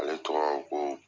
Ale tɔgɔ ko